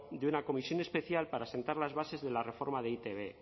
de una comisión especial para asentar las bases de la reforma de e i te be